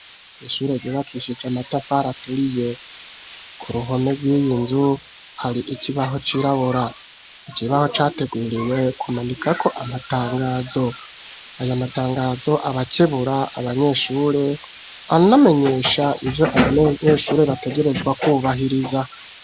Ishure ryubakishije amatafari aturiye ku ruhome rw'iyinzu hari ikibaho cirabura ikibaho categuriwe kumanikako aya matangazo abakebura abanyeshure anamenyesha ijo abanyeshuri bategerezwa kubahiriza.